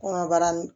Kɔnɔbara ni